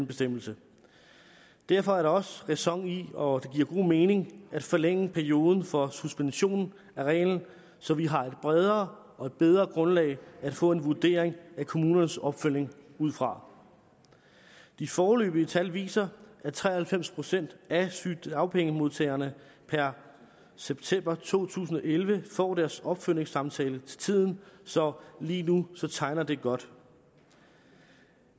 bestemmelse derfor er der også ræson i og god mening i at forlænge perioden for suspensionen af reglen så vi har et bredere og et bedre grundlag at få en vurdering af kommunernes opfølgning ud fra de foreløbige tal viser at tre og halvfems procent af sygedagpengemodtagere per september to tusind og elleve får deres opfølgningssamtale til tiden så lige nu tegner det godt